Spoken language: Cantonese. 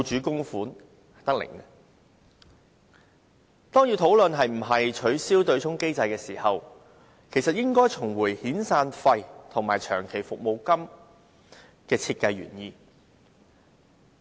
當我們要討論應否取消對沖機制時，應先看看遣散費及長期服務金的設計原意。